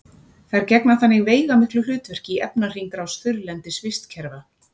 þær gegna þannig veigamiklu hlutverki í efnahringrás þurrlendis vistkerfa